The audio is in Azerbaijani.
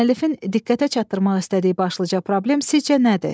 Müəllifin diqqətə çatdırmaq istədiyi başlıca problem sizcə nədir?